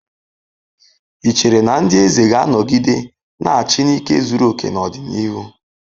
Ị chere na ndị eze ga-anọgide na-achị n'ike zuru oke n'ọdịnihu?